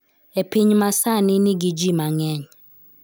E piny ma sani nigi ji mang�eny.